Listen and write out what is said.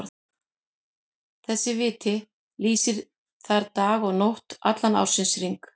Þessi viti lýsir þar dag og nótt allan ársins hring.